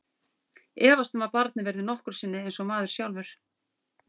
Efast um að barnið verði nokkru sinni eins og maður sjálfur.